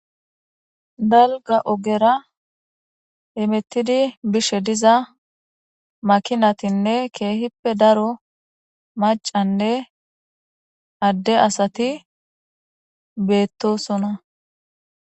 Dalga ogera emettidi bishe diza makinatinne keehippe daro macanne adde asati beettosona.